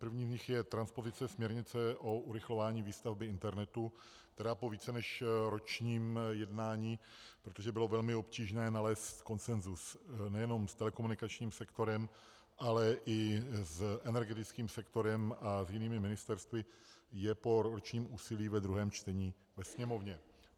Prvním z nich je transpozice směrnice o urychlování výstavby internetu, která po více než ročním jednání, protože bylo velmi obtížné nalézt konsenzus nejen s telekomunikačním sektorem, ale i s energetickým sektorem a s jinými ministerstvy, je po ročním úsilí ve druhém čtení ve Sněmovně.